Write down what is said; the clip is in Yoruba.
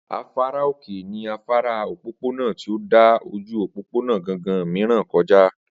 Afárá òkè ní afárá òpópónà tí ó dà ojú òpópónà gangan mìíràn kọ já